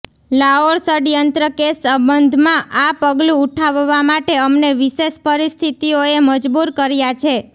લાઓર ષડયંત્ર કેસ સંબંધમાં આ પગલુ ઉઠાવવા માટે અમને વિશેષ પરિસ્થિતિઓએ મજબૂર કર્યા છે